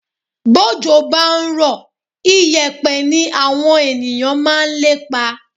Bójò bá ń rọ̀, ìyẹ̀pẹ̀ ní àwọn ènìyàn máa ń lépa